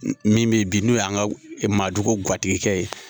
E min bɛ bi n'o y'an ka madugu guatigikɛ ye.